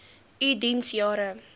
u diens jare